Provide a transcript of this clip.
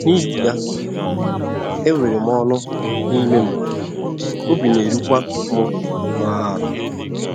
N’ihi ya, enwere m ọṅụ n'ime m, obi na - erukwa m nnọọ ala. ”